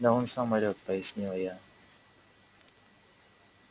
да он сам орёт пояснила я